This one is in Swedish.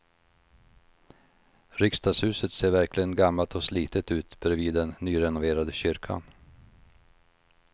Riksdagshuset ser verkligen gammalt och slitet ut bredvid den nyrenoverade kyrkan.